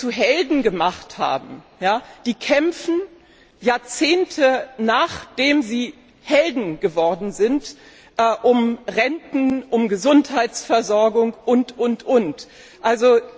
Die, die wir zu Helden gemacht haben, kämpfen Jahrzehnte, nachdem sie Helden geworden sind, um Renten, um Gesundheitsversorgung und so weiter.